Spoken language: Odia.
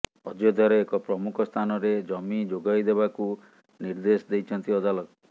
ଅଯୋଧ୍ୟାର ଏକ ପ୍ରମୁଖ ସ୍ଥାନରେ ଜମି ଯୋଗାଇ ଦେବାକୁ ନିର୍ଦ୍ଦେଶ ଦେଇଛନ୍ତି ଅଦାଲତ